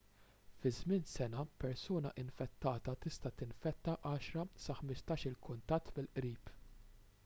fi żmien sena persuna infettata tista' tinfetta 10 sa 15-il kuntatt mill-qrib